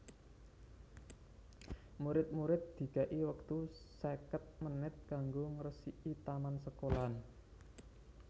Murid murid dikei wektu seket menit kanggo ngresiki taman sekolahan